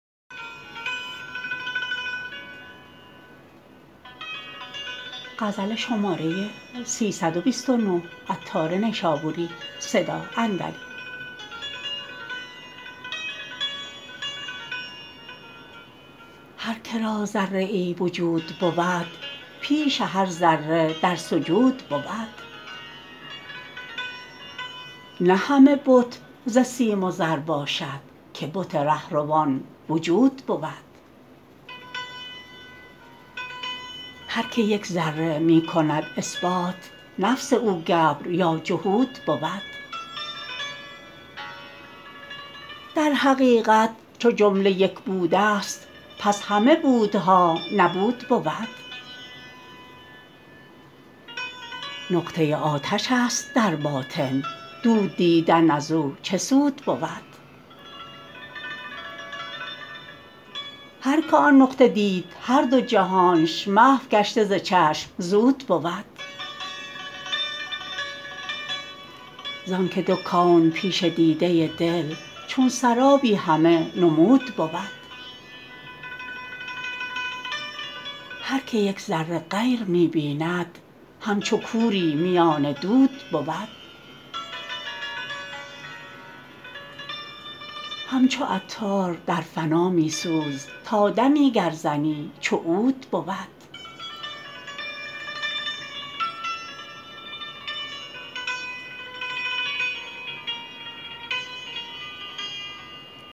هر که را ذره ای وجود بود پیش هر ذره در سجود بود نه همه بت ز سیم و زر باشد که بت رهروان وجود بود هر که یک ذره می کند اثبات نفس او گبر یا جهود بود در حقیقت چو جمله یک بودست پس همه بودها نبود بود نقطه آتش است در باطن دود دیدن ازو چه سود بود هر که آن نقطه دید هر دو جهانش محو گشته ز چشم زود بود زانکه دو کون پیش دیده دل چون سرابی همه نمود بود هر که یک ذره غیر می بیند همچو کوری میان دود بود همچو عطار در فنا می سوز تا دمی گر زنی چو عود بود